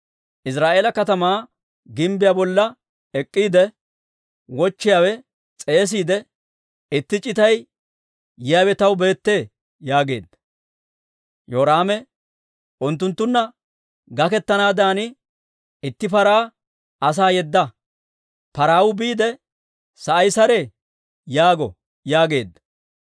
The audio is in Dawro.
Iziraa'eela katamaa gimbbiyaa bolla ek'k'iide wochchiyaawe s'eesiide, «Itti c'itay yiyaawe taw beettee» yaageedda. Yoraame, «Unttunttunna gakettanaadan itti paraa asaa yedda. Parawuu biide, ‹Sa'ay saree?› yaago» yaageedda.